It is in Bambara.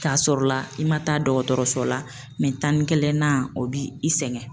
K'a sɔrɔ la, i ma taa dɔkɔtɔrɔso la tan ni kelen na o b'i sɛgɛn .